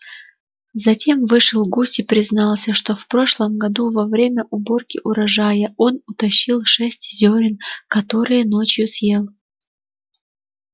затем вышел гусь и признался что в прошлом году во время уборки урожая он утащил шесть зёрен которые ночью съел